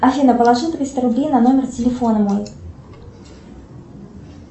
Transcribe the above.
афина положи триста рублей на номер телефона мой